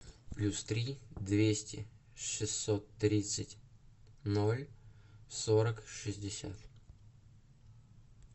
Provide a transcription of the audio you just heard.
плюс три двести шестьсот тридцать ноль сорок шестьдесят